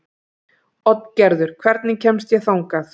Oddgerður, hvernig kemst ég þangað?